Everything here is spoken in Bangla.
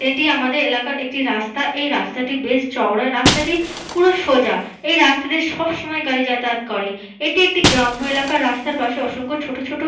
এটি আমাদের এলাকার একটি রাস্তা এই রাস্তাটি বেশ চওড়ায় এই রাস্তা টি পুরো সোজা এই রাস্তাটি সবসময় গাড়ি যাতায়াত করে । এটি একটি গ্রাম্য এলাকার রাস্তার পাশে অসংখ্য ছোট ছোট --